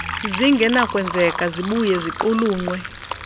zingenakwenzeka zibuye ziqulunqwe